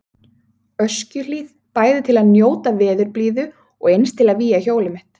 Öskjuhlíð, bæði til að njóta veðurblíðu og eins til að vígja hjólið mitt.